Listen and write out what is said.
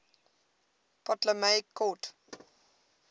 ptolemaic court